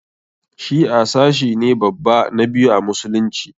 Shi'a sashi ne babba na biyu a musulunci.